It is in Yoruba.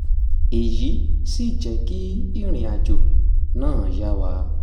èyí sì jẹ́ kí ìrìnàjò náà yá wa